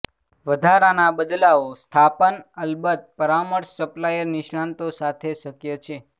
વધારાના બદલાવો સ્થાપન અલબત્ત પરામર્શ સપ્લાયર નિષ્ણાતો સાથે શક્ય છે